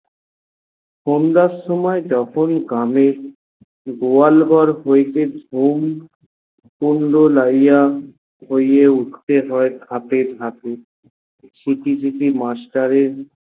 বন্যার সময় যখন গ্রামে গোয়াল ঘর হইতে শ্রম পড়লো লাইয়া হয়ে উঠতে হয়ে খাপে খাপে সিকি সিকি master এর